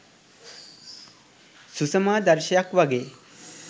සුසමාදර්ශයක් වගේ